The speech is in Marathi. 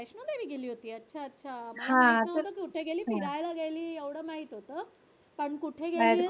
तू कधी गेली होती अच्छा अच्छा फिरायला गेली एवढ माहित होत